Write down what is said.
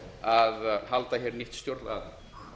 að halda hér nýtt stjórnlagaþing